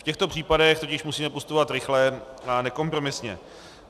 V těchto případech tudíž musíme postupovat rychle a nekompromisně.